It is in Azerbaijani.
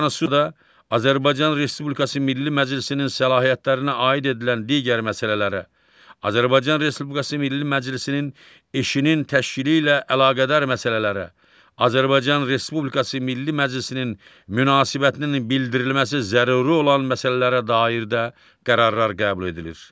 Bu Konstitusiyada Azərbaycan Respublikası Milli Məclisinin səlahiyyətlərinə aid edilən digər məsələlərə, Azərbaycan Respublikası Milli Məclisinin işinin təşkili ilə əlaqədar məsələlərə, Azərbaycan Respublikası Milli Məclisinin münasibətinin bildirilməsi zəruri olan məsələlərə dair də qərarlar qəbul edilir.